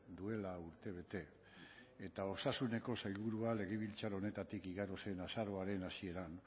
duela urtebete eta osasuneko sailburua legebiltzar honetatik igaro zen azaroaren hasieran